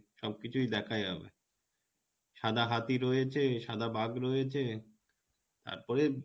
সব কিছুই দেখা যাবে সাদা হাতি রয়েছে সাদা বাঘ রয়েছে তারপরে,